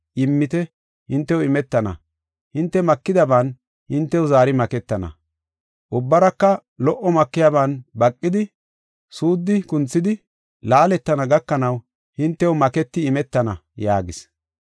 Immite; hintew imetana. Hinte makidaban hintew zaari maketana, ubbaraka lo77o makiyaban baqidi, suuddi kunthidi, laaletana gakanaw hintew maketi imetana” yaagis.